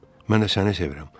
Mən də səni sevirəm.